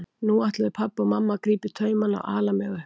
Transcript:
Nú ætluðu pabbi og mamma að grípa í taumana og ala mig upp.